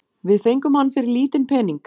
Við fengum hann fyrir lítinn pening